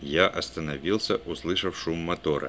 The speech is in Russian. я остановился услышав шум мотора